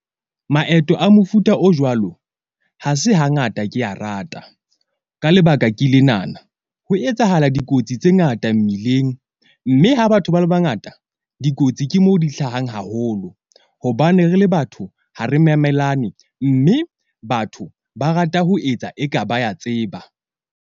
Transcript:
Maeto a mofuta o jwalo ha se hangata ke a rata ka lebaka ke lenana. Ho etsahala dikotsi tse ngata mmileng, mme ha batho ba le bangata dikotsi ke mo di hlahang haholo. Hobane re le batho ha re memelane mme batho ba rata ho etsa, e ka ba ya tseba.